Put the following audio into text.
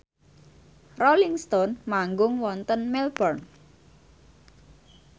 Rolling Stone manggung wonten Melbourne